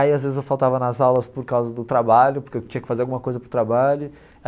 Aí às vezes eu faltava nas aulas por causa do trabalho, porque eu tinha que fazer alguma coisa para o trabalho.